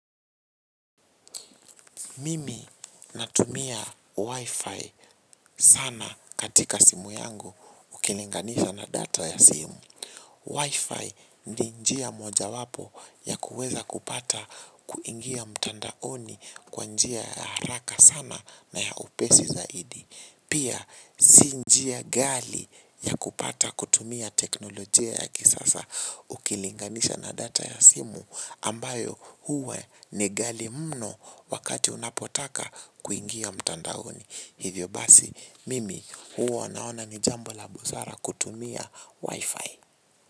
Mimi natumia Wi-Fi sana katika simu yangu ukilinganisha na data ya simu. Wi-Fi ni njia mojawapo ya kuweza kupata kuingia mtandaoni kwa njia ya haraka sana na ya upesi zaidi. Pia si njia ghali ya kupata kutumia teknolojia ya kisasa ukilinganisha na data ya simu ambayo huwa ni ghali mno wakati unapotaka kuingia mtandaoni. Hivyo basi, mimi huwa naona ni jambo la busara kutumia wifi.